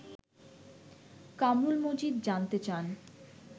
কামরুল মজিদ জানতে চান